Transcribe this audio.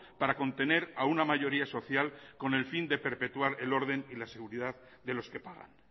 para contener a una mayoría social con el fin de perpetuar el orden y la seguridad de los que pagan